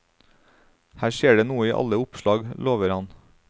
Her skjer det noe i alle oppslag, lover han.